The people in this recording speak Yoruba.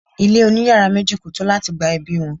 ile oni iyara meji ko to lati gba ebi won